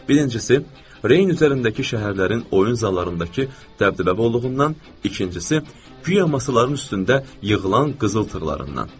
Birincisi, Reyn üzərindəki şəhərlərin oyun zallarındakı dəbdəbəliliyindən, ikincisi, guya masaların üstündə yığılan qızıl tırlarından.